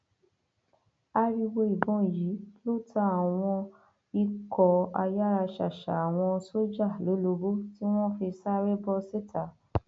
ariwo ìbọn yìí ló ta àwọn àwọn ikọ ayáraṣàṣà àwọn sójà lólobó tí wọn fi sáré bọ síta